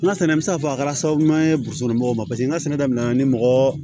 N ka sɛnɛ bɛ se k'a fɔ a kɛra sababu ye burusikɔnɔ mɔgɔw ma paseke n ka sɛnɛ damina ni mɔgɔɔ